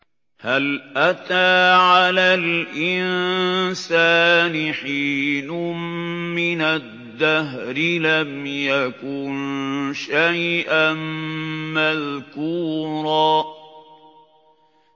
هَلْ أَتَىٰ عَلَى الْإِنسَانِ حِينٌ مِّنَ الدَّهْرِ لَمْ يَكُن شَيْئًا مَّذْكُورًا